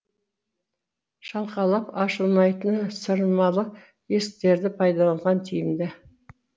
шалқалап ашылмайтыны сырмалы есіктерді пайдаланған тиімді